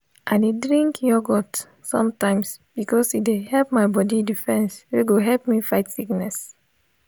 i dey drink youlgurt sometimes because e dey help my body defence wey go help me fight sickness.